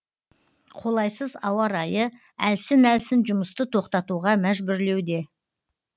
қолайсыз ауа райы әлсін әлсін жұмысты тоқтатуға мәжбүрлеуде